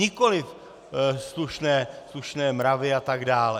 Nikoliv slušné mravy a tak dále.